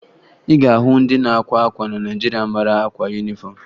Ị ga-ahụ ndị na-akwa akwa na Naịjirịa mara akwa yunifọmụ